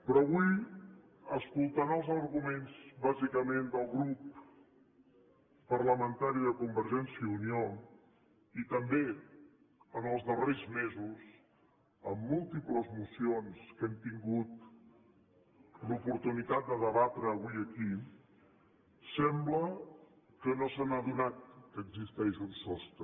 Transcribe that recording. però avui escoltant els arguments bàsicament del grup parlamentari de convergència i unió i també en els darrers mesos amb múltiples mocions que hem tingut l’oportunitat de debatre avui aquí sembla que no s’han adonat que existeix un sostre